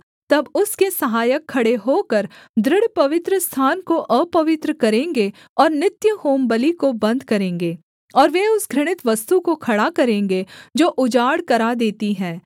तब उसके सहायक खड़े होकर दृढ़ पवित्रस्थान को अपवित्र करेंगे और नित्य होमबलि को बन्द करेंगे और वे उस घृणित वस्तु को खड़ा करेंगे जो उजाड़ करा देती है